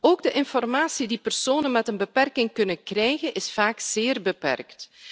Ook de informatie die personen met een beperking kunnen krijgen, is vaak zeer beperkt.